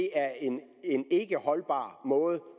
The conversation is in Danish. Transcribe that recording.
er en ikkeholdbar måde